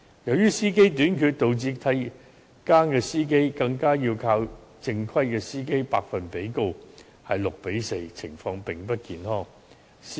由於司機短缺，導致替更司機的百分比更較正規司機為高，比例為 6：4， 情況並不健康。